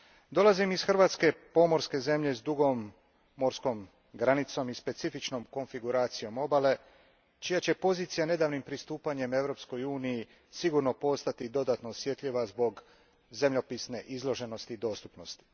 Dolazim iz Hrvatske, pomorske zemlje s dugom morskom granicom i specifičnom konfiguracijom obale čija će pozicija nedavnim pristupanjem Europskoj uniji sigurno postati dodatno osjetljiva zbog zemljopisne izloženosti i dostupnosti.